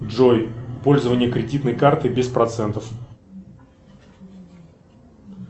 джой пользование кредитной карты без процентов